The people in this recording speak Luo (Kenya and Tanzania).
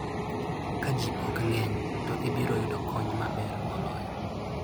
Ka ji ok ng'eny, to ibiro yudo kony maber moloyo.